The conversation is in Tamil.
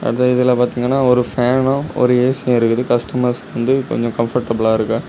அத இதுல பாத்திங்கன ஒரு ஃபேன்னும் ஒரு ஏசியும் இருக்குது கஸ்ட்டமர்ஸ்க்கு வந்து கொஞ்சம் கம்ஃபோர்டபுளா இருக்க.